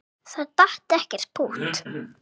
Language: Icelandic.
Það datt ekkert pútt.